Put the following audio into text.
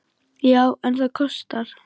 Já, en það kostar!